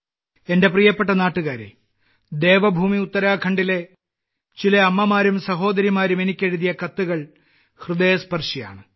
എന്റെ പ്രിയപ്പെട്ട നാട്ടുകാരേ ദേവഭൂമി ഉത്തരാഖണ്ഡിലെ ചില അമ്മമാരും സഹോദരിമാരും എനിക്കെഴുതിയ കത്തുകൾ ഹൃദയസ്പർശിയാണ്